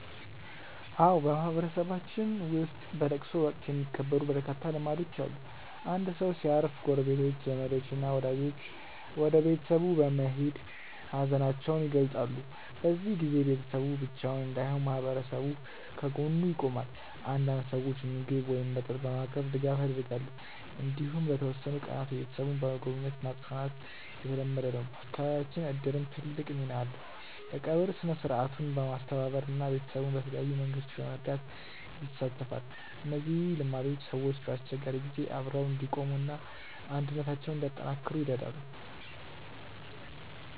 አዎ፣ በማህበረሰባችን ውስጥ በለቅሶ ወቅት የሚከበሩ በርካታ ልማዶች አሉ። አንድ ሰው ሲያርፍ ጎረቤቶች፣ ዘመዶች እና ወዳጆች ወደ ቤተሰቡ በመሄድ ሀዘናቸውን ይገልጻሉ። በዚህ ጊዜ ቤተሰቡ ብቻውን እንዳይሆን ማህበረሰቡ ከጎኑ ይቆማል። አንዳንድ ሰዎች ምግብ ወይም መጠጥ በማቅረብ ድጋፍ ያደርጋሉ። እንዲሁም ለተወሰኑ ቀናት ቤተሰቡን በመጎብኘት ማጽናናት የተለመደ ነው። በአካባቢያችን እድርም ትልቅ ሚና አለው፤ የቀብር ሥነ-ሥርዓቱን በማስተባበር እና ቤተሰቡን በተለያዩ መንገዶች በመርዳት ይሳተፋል። እነዚህ ልማዶች ሰዎች በአስቸጋሪ ጊዜ አብረው እንዲቆሙ እና አንድነታቸውን እንዲያጠናክሩ ይረዳሉ።